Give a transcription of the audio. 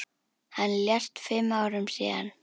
Hann lést fimm árum síðar.